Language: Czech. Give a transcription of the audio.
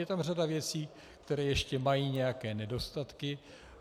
Je tam řada věcí, které ještě mají nějaké nedostatky.